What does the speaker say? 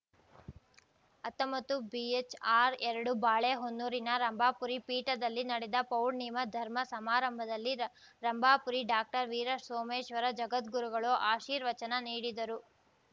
ಹತ್ತೊಂಬತ್ತುಬಿಹೆಚ್‌ಆರ್‌ ಎರಡು ಬಾಳೆಹೊನ್ನೂರಿನ ರಂಭಾಪುರಿ ಪೀಠದಲ್ಲಿ ನಡೆದ ಪೌರ್ಣಿಮ ಧರ್ಮ ಸಮಾರಂಭದಲ್ಲಿ ರ ರಂಭಾಪುರಿ ಡಾಕ್ಟರ್ ವೀರಸೋಮೇಶ್ವರ ಜಗದ್ಗುರುಗಳು ಆಶೀರ್ವಚನ ನೀಡಿದರು